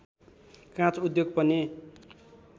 काँच उद्योग पनि